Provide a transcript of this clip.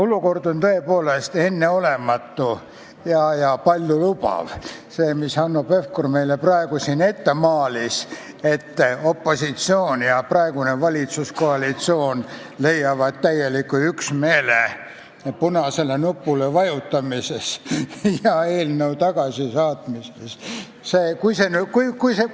Olukord on tõepoolest enneolematu ja paljulubav, see, mida Hanno Pevkur meile praegu siin ette maalis, et opositsioon ja praegune valitsuskoalitsioon leiavad punasele nupule vajutades ja eelnõu tagasi saates täieliku üksmeele.